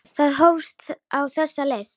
Það hófst á þessa leið.